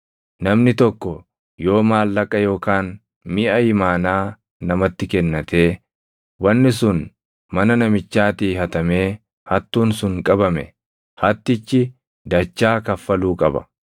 “Namni tokko yoo maallaqa yookaan miʼa imaanaa namatti kennatee, wanni sun mana namichaatii hatamee hattuun sun qabame, hattichi dachaa kaffaluu qaba.